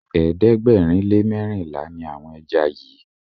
ẹ̀ẹ́dẹ̀gbẹ̀rin lè merinla ní àwọn ejá yí.